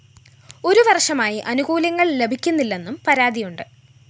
ഒരു വര്‍ഷമായി ആനുകൂല്യങ്ങള്‍ ലഭിക്കുന്നില്ലെന്നും പരാതിയുണ്ട്